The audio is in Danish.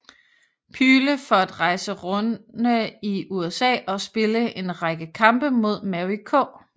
Pyle for at rejse runde i USA og spille en række kampe mod Mary K